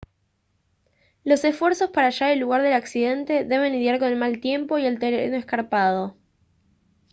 los esfuerzos para hallar el lugar del accidente deben lidiar con el mal tiempo y el terreno escarpado